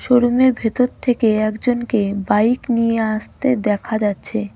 শোরুমের ভেতর থেকে একজনকে বাইক নিয়ে আসতে দেখা যাচ্ছে.